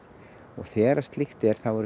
þegar slíkt er þá eru